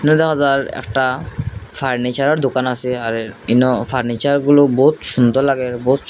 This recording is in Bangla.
যার একটা ফার্নিচারের দোকান আছে আরে ইনো ফার্নিচারগুলো বহুত সুন্দর লাগে বহুত।